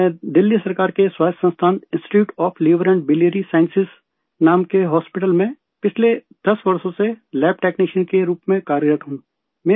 میں دلی سرکار کے خود مختار ادارے institute of liver and biliary sciences I L B S نام کے ہاسپٹل میں پچھلے 10 سالوں سے لیب ٹیکنیشین کے طور پر کام کر رہا ہوں